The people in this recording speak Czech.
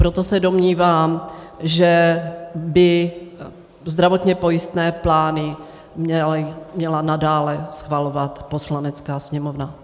Proto se domnívám, že by zdravotně pojistné plány měla nadále schvalovat Poslanecká sněmovna.